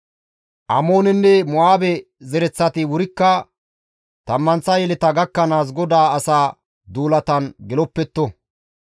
Amoonenne Mo7aabe zereththati wurikka tammanththa yeleta gakkanaas GODAA asaa duulatan geloppetto.